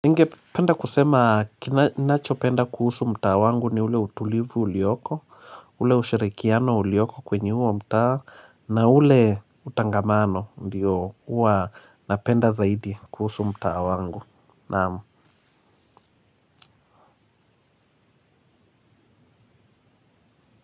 Ningependa kusema ninachopenda kuhusu mtaa wangu ni ule utulivu ulioko, ule ushirikiano ulioko kwenye huo mta na ule utangamano ndio huwa napenda zaidi kuhusu mtaa wangu. Naam.